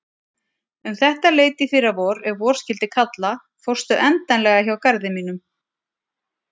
Um þetta leyti í fyrravor ef vor skyldi kalla fórstu endanlega hjá garði mínum.